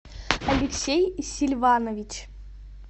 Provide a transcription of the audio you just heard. алексей сильванович